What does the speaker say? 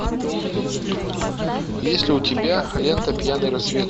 есть ли у тебя лента пьяный рассвет